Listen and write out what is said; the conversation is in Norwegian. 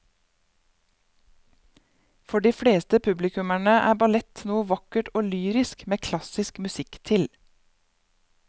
For de fleste publikummere er ballett noe vakkert og lyrisk med klassisk musikk til.